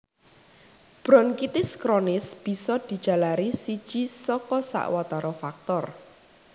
Bronkitis kronis bisa dijalari siji saka sawatara faktor